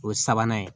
O ye sabanan ye